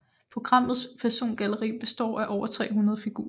Programmets persongalleri består af over 300 figurer